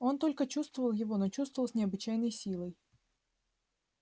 он только чувствовал его но чувствовал с необычайной силой